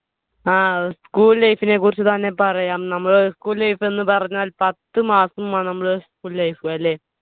ആ school life നെ കുറിച്ചുതന്നെ പറയാം. നമ്മുടെ school life എന്ന് പറഞ്ഞാൽ പത്ത് മാസമാണ് നമ്മൾ school life അല്ലെ